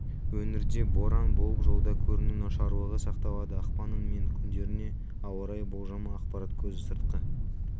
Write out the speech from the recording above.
өңірде боран болып жолда көріну нашарлығы сақталады ақпанның мен күндеріне ауа райы болжамы ақпарат көзі сыртқы